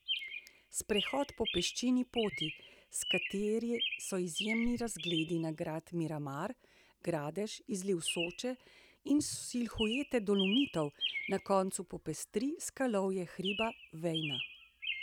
Sprehod po peščeni poti, s katere so izjemni razgledi na grad Miramar, Gradež, izliv Soče in silhuete Dolomitov, na koncu popestri skalovje hriba Vejna.